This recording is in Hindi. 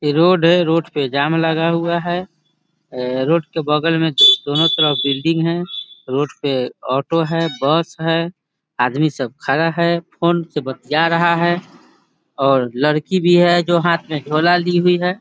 ये रोड है रोड पे जाम लगा हुआ है रोड के बगल में दोनों तरफ बिल्डिंग है रोड पे ऑटो है बस है आदमी सब खड़ा है फ़ोन से बतिया रहा है और लड़की भी है जो हाथ में झोला ली हुई है।